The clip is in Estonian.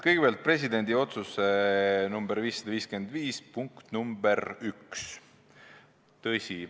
Kõigepealt, presidendi otsus nr 551, punkt 1.